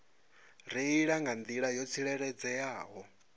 reila nga nḓila yo tsireledzeaho